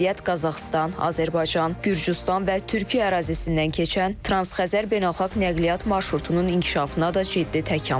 Bu vəziyyət Qazaxıstan, Azərbaycan, Gürcüstan və Türkiyə ərazisindən keçən Transxəzər beynəlxalq nəqliyyat marşrutunun inkişafına da ciddi təkan verib.